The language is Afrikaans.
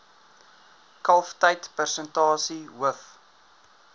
kalftyd persentasie hoof